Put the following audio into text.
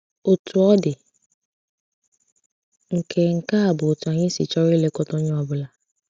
Otú ọ dị, nke nke a bụ otú anyị si chọrọ ilekọta onye ọ bụla.